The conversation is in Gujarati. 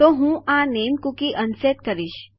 તો હું આ નામે કુકી અનસેટ કરીશ